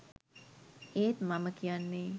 ඒත් මම කියන්නේ